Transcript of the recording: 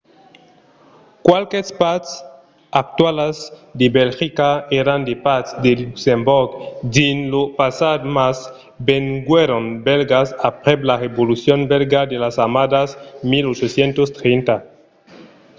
qualques parts actualas de belgica èran de parts de luxemborg dins lo passat mas venguèron bèlgas aprèp la revolucion bèlga de las annadas 1830